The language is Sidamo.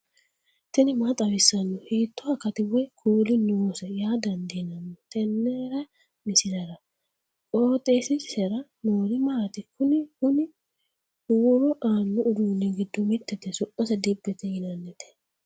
tini maa xawissanno ? hiitto akati woy kuuli noose yaa dandiinanni tenne misilera? qooxeessisera noori maati? kuni kuni huuro aanno uduunni giddo mittete su'mase dibbete yinannite.